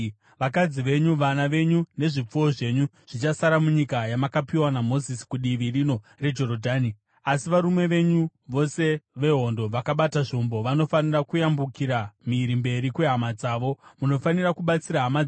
Vakadzi venyu, vana venyu nezvipfuwo zvenyu zvichasara munyika yamakapiwa naMozisi kudivi rino reJorodhani, asi varume venyu vose vehondo, vakabata zvombo, vanofanira kuyambukira mhiri mberi kwehama dzenyu. Munofanira kubatsira hama dzenyu